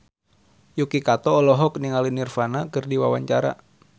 Yuki Kato olohok ningali Nirvana keur diwawancara